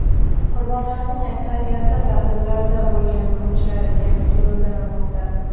Qurbonlarning aksariyati ta’tillarda bo‘lgan o‘quvchilar ekanligi bildirilmoqda.